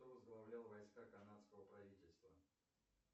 кто возглавлял войска канадского правительства